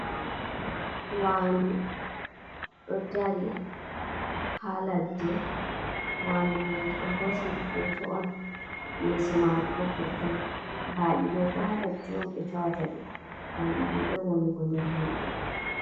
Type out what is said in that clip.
Waandu ɗo dari haa ladde, waandu may ɓe hoosi ndu footo on yeeso maaru bo vurtay. Baɗi ɗo bo haa ladde on ɓe tawata ɗi, ngam ɗi ɗuɗay wanugo nder himɓe.